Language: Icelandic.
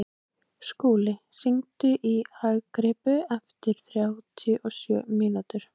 Skúli, hringdu í Agrippu eftir þrjátíu og sjö mínútur.